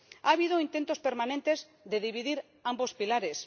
Ha habido intentos permanentes de dividir ambos pilares.